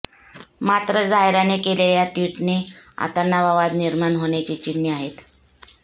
मात्र झायराने केलेल्या या ट्विटने आता नवा वाद निर्माण होण्याची चिन्हे आहेत